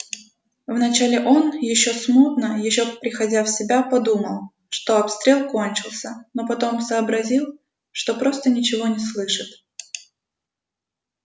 вначале он ещё смутно ещё приходя в себя подумал что обстрел кончился но потом сообразил что просто ничего не слышит